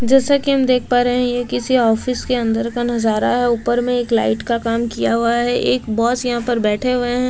जैसा कि हम देख पा रहे हैं यह किसी ऑफिस के अंदर का नजारा है ऊपर में एक लाइट का काम किया हुआ है एक बॉस यहां पर बैठे हुए हैं।